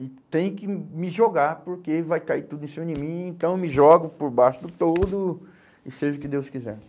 E tenho que me jogar, porque vai cair tudo em cima de mim, então eu me jogo por baixo do toldo, e seja o que Deus quiser.